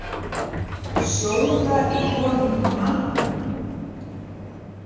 Sjóða í honum mann!